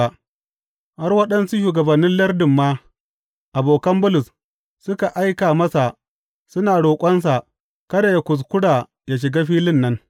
Har waɗansu shugabannin lardin ma, abokan Bulus, suka aika masa suna roƙonsa kada yă kuskura ya shiga filin nan.